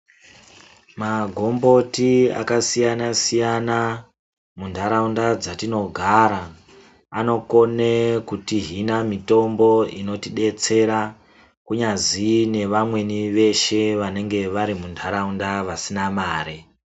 Magomboti akasiyana-siyana muntaraunda dzatinogara anokone kutihina mitombo inotidetsera, kunyazi nevamweni veshe vanenge vari muntaraunda vasina mare.